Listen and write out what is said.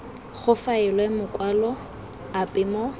go faelwe makwalo ape mo